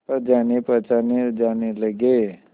पर जानेपहचाने जाने लगे